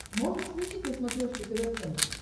можешь включить на смотрешке тв центр